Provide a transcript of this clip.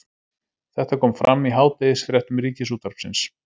Þetta kom fram í hádegisfréttum Ríkisútvarpsins